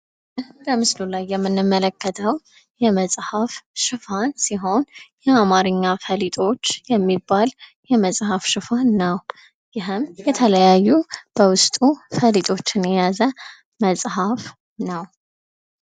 በምስሉ ላይ የምንመለከተው የመፃህፍ ሽፋን ሲሆን የአማርኛ ፈሊጦች የሚባል የመፃፍ ሽፋን ነው። ይህም የተለያዩ ፈሊጦችን የያዘ መፃፍ ነው